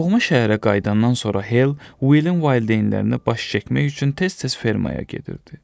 Doğma şəhərə qayıdandan sonra Hell Willin valideynlərinə baş çəkmək üçün tez-tez fermaya gedirdi.